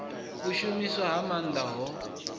u shumiswa ha maanḓa ho